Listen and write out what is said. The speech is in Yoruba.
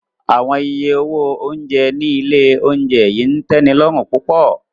Awọn iye owo ounjẹ ni ile ounjẹ yii n tẹnilọrun pupọ.